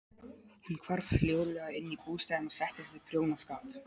Hún hvarf hljóðlega inn í bústaðinn og settist við prjónaskap.